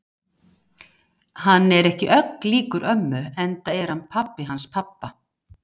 Hann er ekki ögn líkur ömmu enda er hann pabbi hans pabba.